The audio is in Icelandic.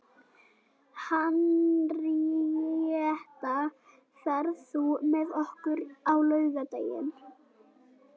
Henríetta, ferð þú með okkur á laugardaginn?